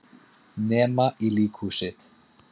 Nema í líkhúsið.